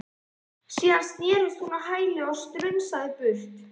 Síðan snerist hún á hæli og strunsaði í burtu.